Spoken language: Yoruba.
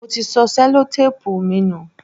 Mo ti sọ Sẹ́lótápùù mi nù.